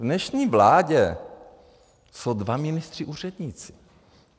V dnešní vládě jsou dva ministři úředníci.